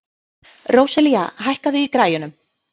Róselía, hækkaðu í græjunum.